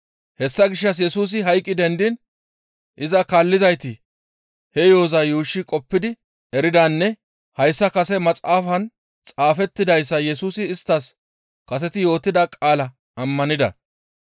Hessa gishshas Yesusi hayqqi dendiin iza kaallizayti he yo7oza yuushshi qoppidi eridanne hayssa kase maxaafan xaafettidayssa Yesusi isttas kaseti yootida qaalaa ammanida.